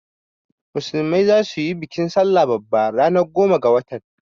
Musulmai zasu yi bikin sallah babba ranar goma ga watan.